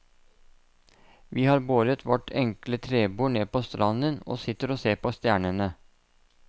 Vi har båret vårt enkle trebord ned på stranden og sitter og ser på stjernene.